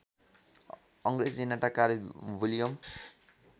अङ्रेजी नाटककार विलियम